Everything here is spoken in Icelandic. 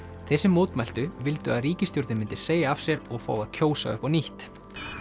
þeir sem mótmæltu vildu að ríkisstjórnin myndi segja af sér og fá að kjósa upp á nýtt